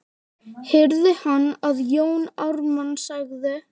heyrði hann að Jón Ármann sagði.